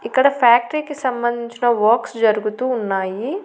ఇక్కడ ఫ్యాక్టరీ కి సంబంధించిన వర్క్స్ జరుగుతూ ఉన్నాయి.